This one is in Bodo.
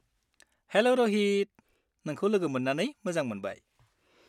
हेल' रहित, नोंखौ लोगो मोन्नानै मोजां मोनबाय।